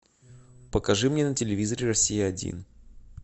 покажи мне на телевизоре россия один